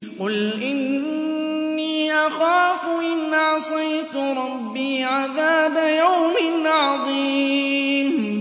قُلْ إِنِّي أَخَافُ إِنْ عَصَيْتُ رَبِّي عَذَابَ يَوْمٍ عَظِيمٍ